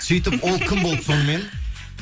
сөйтіп ол кім болды сонымен